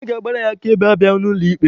Onye ga-agbara ya akaebe abịaghị n'ụlọ ikpe.